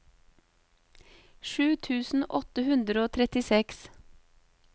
sju tusen åtte hundre og trettiseks